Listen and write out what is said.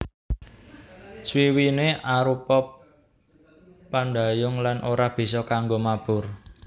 Swiwiné arupa pandhayung lan ora bisa kanggo mabur